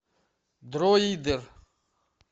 дроидер